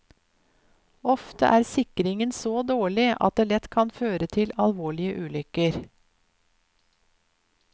Ofte er sikringen så dårlig at det lett kan føre til alvorlige ulykker.